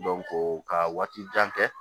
ka waati jan kɛ